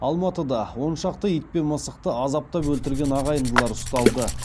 алматыда он шақты ит пен мысықты азаптап өлтірген ағайындылар ұсталды